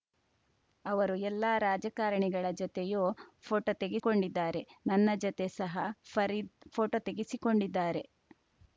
ಅವರು ಎಲ್ಲಾ ರಾಜಕಾರಣಿಗಳ ಜತೆಯೂ ಫೋಟೋ ತೆಗೆಕೊಂಡಿದ್ದಾರೆ ನನ್ನ ಜತೆ ಸಹ ಫರೀದ್‌ ಫೋಟೋ ತೆಗೆಸಿಕೊಂಡಿದ್ದಾರೆ